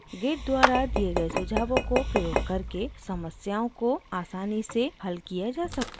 git द्वारा दिए git सुझावों को प्रयोग करके समस्याओं conflicts को आसानी से हल किया जा सकता है